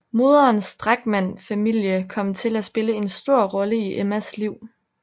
Moderens Drachmann familie kom til at spille en stor rolle i Emmas liv